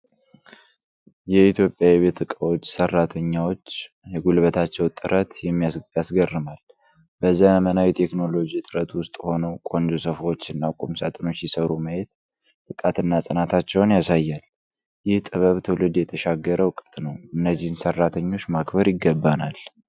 የኢትዮጵያ የቤት ዕቃዎች ሠራተኞች የጉልበታቸው ጥረት ያስገርማል። በዘመናዊ ቴክኖሎጂ እጥረት ውስጥ ሆነው ቆንጆ ሶፋዎችና ቁም ሳጥኖች ሲሠሩ ማየት ብቃትና ጽናታቸውን ያሳያል። ይህ ጥበብ ትውልድ የተሻገረ ዕውቀት ነው። እነዚህን ሠርተኞች ማክበር ይገባናል።